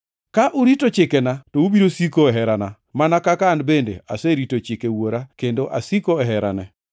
Ka urito chikena, to ubiro siko e herana, mana kaka an bende aserito chike Wuora kendo asiko e herane.